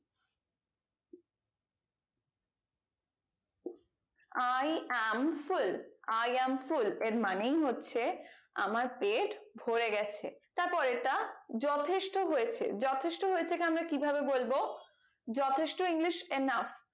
i am full i am full এর মানেই হচ্ছে আমার পেট ভোরে গেছে তার পরেরটা যথেষ্ট হয়েছে যথেষ্ট হয়েছে কে আমরা কি ভাবে বলবো যথেষ্ট english enuf